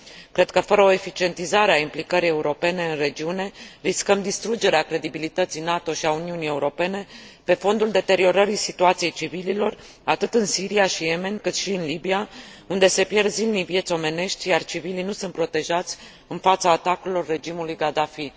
Cred că, fără o eficientizare a implicării europene în regiune, riscăm distrugerea credibilității NATO și a Uniunii Europene, pe fondul deteriorării situației civililor, atât în Siria și Yemen, cât și în Libia, unde se pierd zilnic vieți omenești, iar civilii nu sunt protejați în fața atacurilor regimului Gaddafi.